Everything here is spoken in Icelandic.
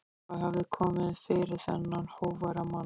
Hvað hafði komið fyrir þennan hógværa mann?